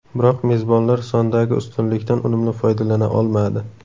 Biroq mezbonlar sondagi ustunlikdan unumli foydalana olmadi.